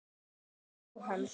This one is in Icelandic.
Elsku Jóhann.